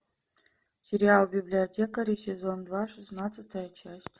сериал библиотекари сезон два шестнадцатая часть